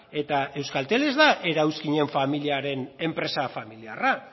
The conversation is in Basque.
eta euskaltel ez da erauzkinen familiaren enpresa familiarra